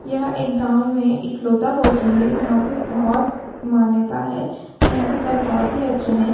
यह एक गाँव में एकलौता कोचिंग है जहाँ पे बहुत मान्यता है यहाँ के सर बहुत ही अच्छे है।